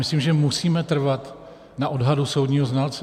Myslím, že musíme trvat na odhadu soudního znalce.